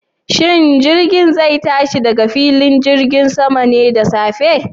Shin jirgin zai tashi daga filin jirgin saman ne da safe?